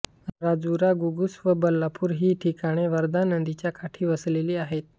राजुरा घुगुस व बल्लारपूर ही ठिकाणे वर्धा नदीच्या काठी वसलेली आहेत